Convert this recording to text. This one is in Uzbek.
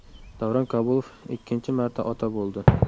Davron Kabulov ikkinchi marta ota bo‘ldi.